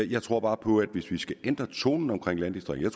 jeg tror bare på at vi skal ændre tonen omkring landdistrikterne